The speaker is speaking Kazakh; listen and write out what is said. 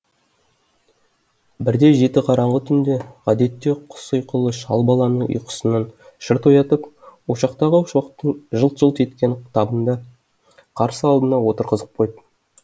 бірде жеті қараңғы түнде ғадетте құс ұйқылы шал баланы ұйқысынан шырт оятып ошақтағы шоқтың жылт жылт еткен табында қарсы алдына отырғызып қойды